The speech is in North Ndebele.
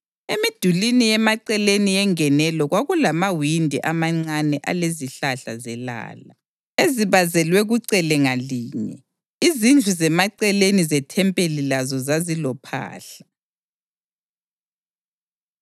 Emidulini yemaceleni yengenelo kwakulamawindi amancane alezihlahla zelala ezibazelwe kucele ngalinye. Izindlu zemaceleni zethempeli lazo zazilophahla.